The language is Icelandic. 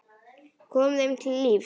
Kom þeim til lífs.